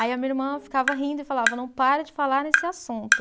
Aí a minha irmã ficava rindo e falava, não para de falar nesse assunto.